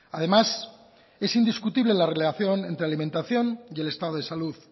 además es indiscutible la relación entre alimentación y el estado de salud